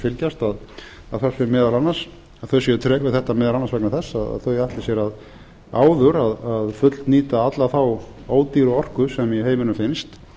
fylgjast að þau séu treg við þetta meðal annars vegna þess að þau ætli sér áður að fullnýta alla þá ódýru orku sem í heiminum finnst